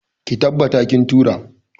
Ki tabbata kin tura!.